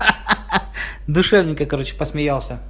ха-ха душевненько короче посмялся